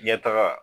Ɲɛtaga